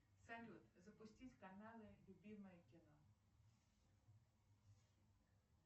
салют запустить каналы любимое кино